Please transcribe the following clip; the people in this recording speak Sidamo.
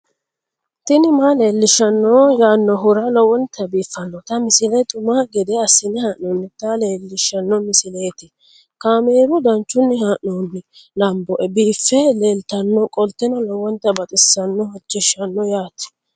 tini maa leelishshanno yaannohura lowonta biiffanota misile xuma gede assine haa'noonnita leellishshanno misileeti kaameru danchunni haa'noonni lamboe biiffe leeeltannoqolten lowonta baxissannoe halchishshanno yaate